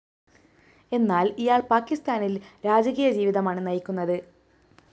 എന്നാല്‍ ഇയാള്‍ പാക്കിസ്ഥാനില്‍ രാജകീയ ജീവിതമാണ് നയിക്കുന്നത്